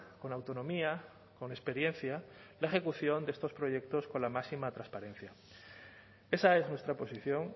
con autonomía con experiencia la ejecución de estos proyectos con la máxima transparencia esa es nuestra posición